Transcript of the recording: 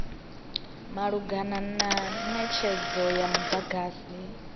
malugana na netshedzo ya mudagasi